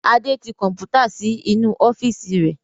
Adé tí Kọ̀npútà síí inú ọ́fíìsì rẹ̀